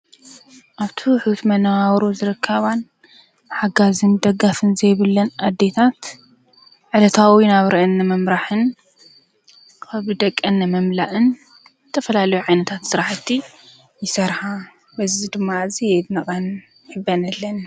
ኣብቱ ኅት መነዋሮ ዝረካባን ሓጋ ዘም ደጋፍን ዘይብለን ኣዴታት ዕለታዊ ናብ ርአኒ መምራሕን ኽብ ደቀን መምላእን ተፈላለ ዕነታት ሠረሕቲ ይሠርሓ በዝ ድማ እዘይ ትነቐን የበነለን።